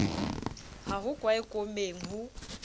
ha ho kwae koomeng ho